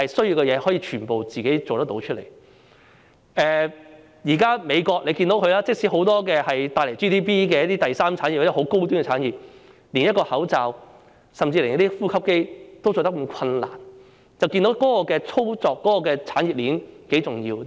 現時可以看到，即使美國有很多帶來 GDP 的第三產業、十分高端的產業，但卻連一個口罩，甚至連呼吸機也難以製造，由此便可得知產業鏈多麼重要。